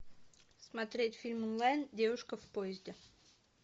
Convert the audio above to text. смотреть фильм онлайн девушка в поезде